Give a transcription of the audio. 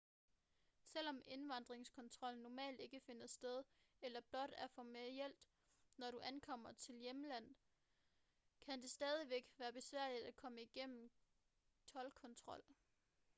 selvom indvandringskontrol normalt ikke finder sted eller blot er en formalitet når du ankommer til dit hjemland kan det stadigvæk være besværligt at komme gennem toldkontrol